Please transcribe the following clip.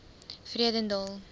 vredendal